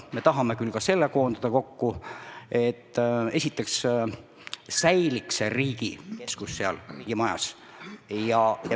Me tahame küll ka selle kokku koondada, et esiteks säiliks riigi keskus seal majas.